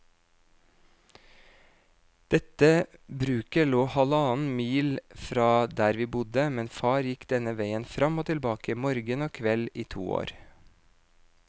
Dette bruket lå halvannen mil fra der vi bodde, men far gikk denne veien fram og tilbake morgen og kveld i to år.